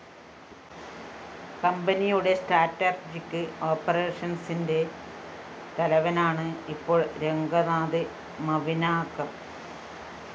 കമ്പനിയുടെ സ്ട്രാറ്റെര്‍ജിക് ഓപ്പറേഷന്‍സിന്റെ തലവനാണ് ഇപ്പോള്‍ രംഗനാഥ് മവിനാകര്‍